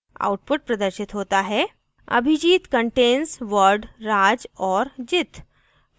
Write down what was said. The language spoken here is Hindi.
output प्रदर्शित होता है: abhijit contains word raj or jit